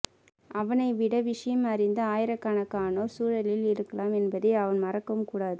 அவனை விட விஷயம் அறிந்த ஆயிரக்கணக்கானோர் சூழலில் இருக்கலாம் என்பதை அவன் மறக்கவும் கூடாது